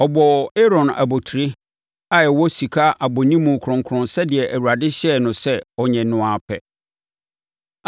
Ɔbɔɔ Aaron abotire a ɛwɔ sika abɔnimu kronkron sɛdeɛ Awurade hyɛɛ no sɛ ɔnyɛ no ara pɛ.